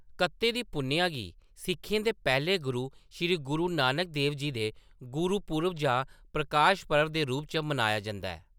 कत्ते दी पुन्नेआ गी सिक्खें दे पैह्‌ले गुरु, श्री गुरु नानक देव जी दे गुरुपुरब जां प्रकाश पर्व दे रूप च मनाया जंदा ऐ ।